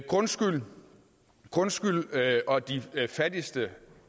grundskylden grundskylden og de fattigste